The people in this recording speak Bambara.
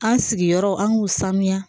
An sigiyɔrɔ an k'u sanuya